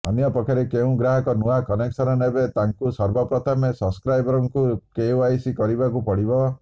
ଅନ୍ୟପକ୍ଷରେ ଯେଉଁ ଗ୍ରାହକ ନୂଆ କନେକ୍ସନ୍ ନେବେ ତାଙ୍କୁ ସର୍ବପ୍ରଥମେ ସବଷ୍କ୍ରାଇବର୍ ଙ୍କୁ କେୱାଇସି କରିବାକୁ ପଡିବ